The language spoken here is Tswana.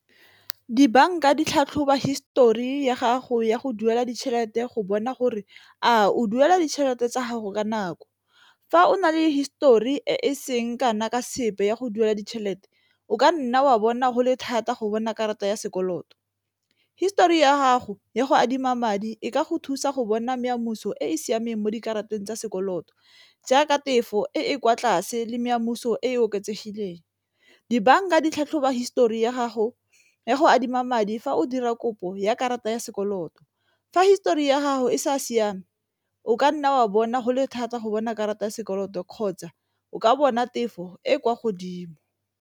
Dibanka di tlhatlhoba histori ya gago ya go duela ditšhelete go bona gore a o duela ditšhelete tsa gago ka nako, fa o na le histori e e seng kana ka sepe ya go duela ditšhelete o ka nna wa bona go le thata go bona karata ya sekoloto. Histori ya gago ya go adima madi ko ka go thusa go bona meamuso e e siameng mo dikarata tsa sekoloto, jaaka tefo e e kwa tlase le mare kamoso e e oketsegileng. Dibanka di tlhatlhoba histori ya gago ya go adima madi fa o dira kopo ya karata ya sekoloto, fa histori ya gago e sa siama o kanna wa bona go le thata go bona karata ya sekoloto kgotsa o ka bona tefo e kwa godimo.